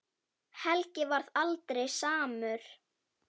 Helgi varð aldrei samur.